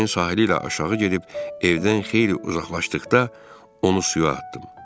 Çayın sahili ilə aşağı gedib evdən xeyli uzaqlaşdıqda onu suya atdım.